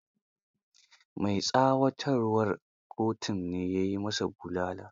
Mai tsawatarwar kotun ne ya yi ma sa bulala.